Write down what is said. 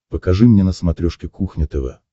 покажи мне на смотрешке кухня тв